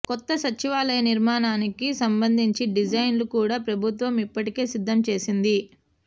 కొత్త సచివాలయ నిర్మాణానికి సంబంధించి డిజైన్లను కూడ ప్రభుత్వం ఇప్పటికే సిద్దం చేసింది